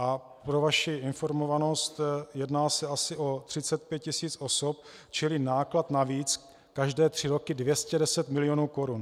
A pro vaši informovanost, jedná se asi o 35 tisíc osob, čili náklad navíc každé tři roky 210 milionů korun.